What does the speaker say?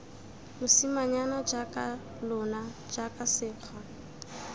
mosimanyana jaaka lona jaana sekgwa